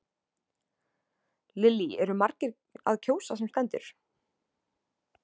Lillý eru margir að kjósa sem stendur?